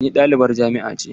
Ni ɗalibin jami'a ne.